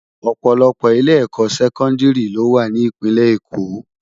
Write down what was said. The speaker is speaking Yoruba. Òpòlòpò ilé èkò sèkòndiri ló wá ni ipinlè Ékó